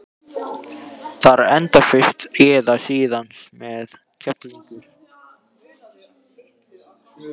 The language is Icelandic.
Það endar fyrr eða síðar með skelfingu.